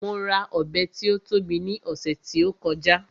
Mo ra Ọ̀bẹ tí ó tóbi ní ọ̀sẹ̀ tí ó kọjá